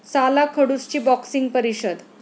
साला खडूस'ची 'बॉक्सिंग' परिषद